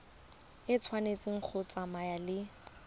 e tshwanetse go tsamaya le